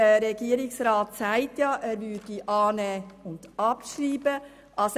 Der Regierungsrat ist bereit, unsere Motion anzunehmen und abzuschreiben.